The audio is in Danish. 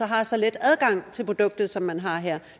har så let adgang til produktet som man har her